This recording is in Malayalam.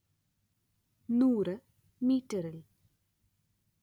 നൂറ് മീറ്ററിൽ